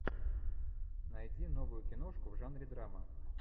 найди новую киношку в жанре драма